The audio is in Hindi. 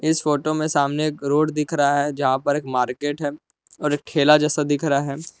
इस फोटो में सामने एक रोड दिख रहा है जहां पर एक मार्केट है और एक खेला जैसा दिख रहा है।